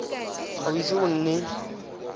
ga o ise o nne